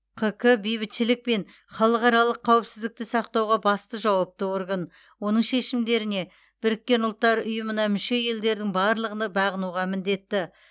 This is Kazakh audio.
қк бейбітшілік пен халықаралық қауіпсіздікті сақтауға басты жауапты орган оның шешімдеріне біріккен ұлттар ұйымына мүше елдердің барлығыны бағынуға міндетті